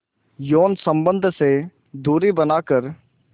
यौन संबंध से दूरी बनाकर